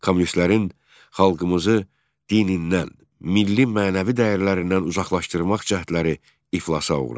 Kommunistlərin xalqımızı dinindən, milli mənəvi dəyərlərindən uzaqlaşdırmaq cəhdləri iflasa uğradı.